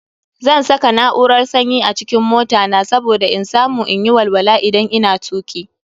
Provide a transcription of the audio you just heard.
Zan saka na'urar sanyi a cikin mota na saboda in samu in yi walwala idan ina tuki.